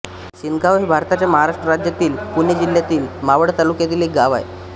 शिंदगाव हे भारताच्या महाराष्ट्र राज्यातील पुणे जिल्ह्यातील मावळ तालुक्यातील एक गाव आहे